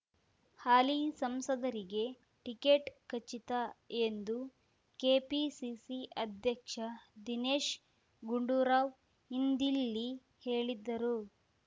ಹಾಲಿ ಸಂಸದರಿಗೆ ಟಿಕೆಟ್ ಖಚಿತ ಎಂದು ಕೆಪಿಸಿಸಿ ಅಧ್ಯಕ್ಷ ದಿನೇಶ್ ಗುಂಡೂರಾವ್ ಇಂದಿಲ್ಲಿ ಹೇಳಿದ್ದರು